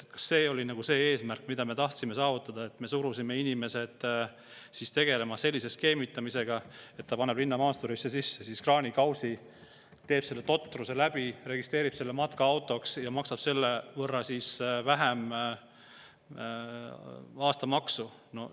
Kas see oli nagu eesmärk, mida me tahtsime saavutada, et me surume inimesed tegelema sellise skeemitamisega, et keegi paneb linnamaasturisse kraanikausi, teeb selle totruse teoks, registreerib sõiduki matkaautona ja maksab selle võrra vähem aastamaksu?